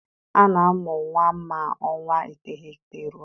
A na-amụ nwa ma ọnwa iteghete rue